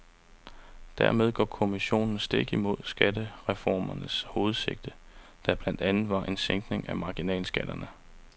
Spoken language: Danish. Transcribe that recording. Dermed går kommissionen stik imod skattereformens hovedsigte, der blandt andet var en sænkning af marginalskatterne.